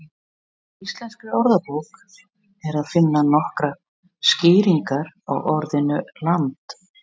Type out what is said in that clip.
Í Íslenskri orðabók er að finna nokkrar skýringar á orðinu land.